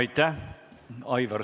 Aitäh!